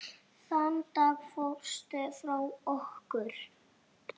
Þann dag fórstu frá okkur.